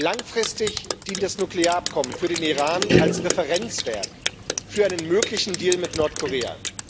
Langfristig dient das Nuklearabkommen für den Iran als Referenzwerk für einen möglichen Deal mit Nordkorea.